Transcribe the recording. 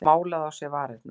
Málað á sér varirnar.